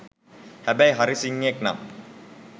හැබැයි හරි සිංහයෙක් නම්